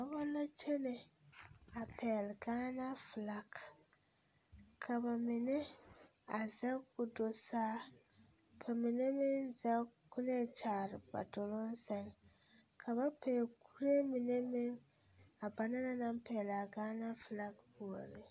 Dɔba la kyene a pɛgle Gaana filagi ka ba mine a zɛge k,o do saa ka mine meŋ zɛge k,o leɛ kyaare ba doloŋ seŋ ka ba pɛgle kuree mine meŋ a ba na naŋ pɛgle a Gaana filagi puoriŋ.